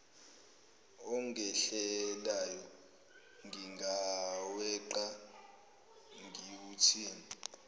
ongehlelayo ngingaweqa ngiwuthini